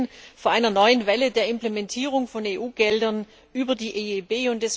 Wir stehen vor einer neuen Welle der Implementierung von EU Geldern über die EIB.